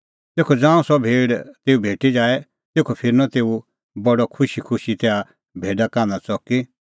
तेखअ ज़ांऊं सह भेड़ तेऊ भेटी जाए तेखअ फिरनअ तेऊ बडअ खुशीखुशी तैहा भेडा कान्हा च़की